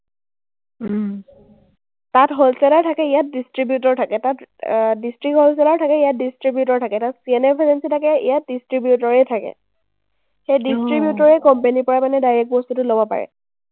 তাত wholesaler থাকে, ইয়াত distributor থাকে। তাত আহ district wholesaler থাকে, ইয়াত distributor থাকে। তাত CNFagency থাকে, ইয়াত distributor য়েই থাকে। সেই distributor এ company ৰ পৰা মানে direct বস্তুটো ল’ব পাৰে।